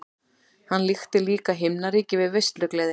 Hann líkti líka himnaríki við veislugleði.